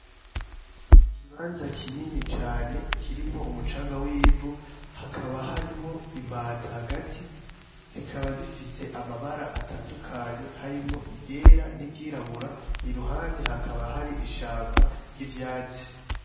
Ni ikibanza kinini cane, kirimwo umucanga w'ivu, hakaba harimwo imbata hagati, zikaba zifise amabara atandukanye harimwo iryera n'iryirabura, iruhande hakaba hari ishamba ry'ivyatsi.